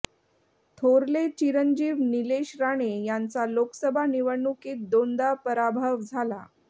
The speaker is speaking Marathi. थोरले चिरंजीव नीलेश राणे यांचा लोकसभा निवडणुकीत दोनदा पराभव झाला